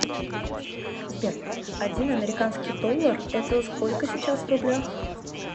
сбер один американский доллар это сколько сейчас в рублях